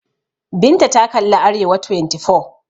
Binta ta kalli Arewa24.